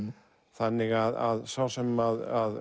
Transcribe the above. þannig að sá sem